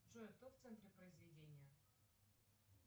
джой кто в центре произведения